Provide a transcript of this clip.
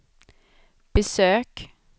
besök